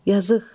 Yazıq.